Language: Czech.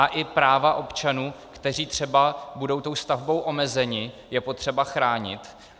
A i práva občanů, kteří třeba budou tou stavbou omezeni, je potřeba chránit.